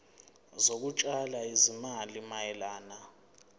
zokutshala izimali mayelana